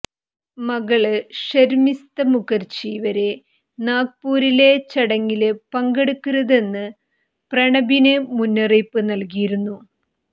മകള് ഷര്മിസ്ത മുഖര്ജി വരെ നാഗ്പൂരിലെ ചടങ്ങില് പങ്കെടുക്കരുതെന്ന് പ്രണബിന് മുന്നറിയിപ്പ് നല്കിയിരുന്നു